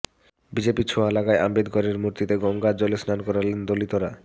বিজেপির ছোঁয়া লাগায় আম্বেদকরের মূর্তিকে গঙ্গার জলে স্নান করালেন দলিতরা